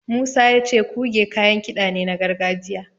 Musa ya ce Kuge kayan kiɗa ne na gargajiya.